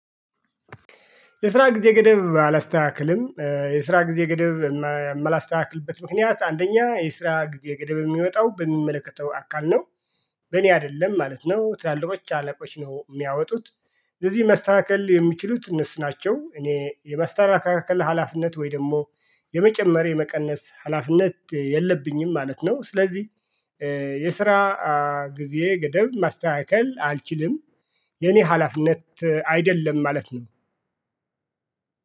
የስራ ጊዜ ገደብ አላስተካክልም የስራ ጊዜ ገደብ የምላስተካክልበት ምክንያት አንደኛ የስራ ጊዜ ገደብ የሚወጣው በሚመለከተው አካል ነው። በእኔ አይደለም ማለት ነው ትላልቆች አለቆች ነው የሚያወጡት። ለዚህ ማስተካከል የሚችሉት እነሱ ናቸው። እኔ የማስተካከል ሀላፊነት ወይ ደግሞ የመጨመር የመቀነስ ሀላፊነት የለብኝም ማለት ነው። ስለዚህ የስራ ጊዜ ገደብ ማስተካከል አልችልም። የኔ ሀላፊነት አይደለም ማለት ነው።